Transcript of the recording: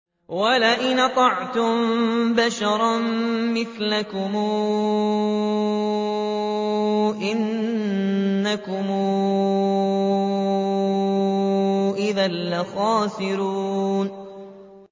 وَلَئِنْ أَطَعْتُم بَشَرًا مِّثْلَكُمْ إِنَّكُمْ إِذًا لَّخَاسِرُونَ